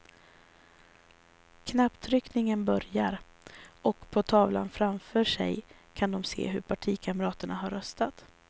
Knapptryckningen börjar och på tavlan framför sig kan de se hur partikamraterna har röstat.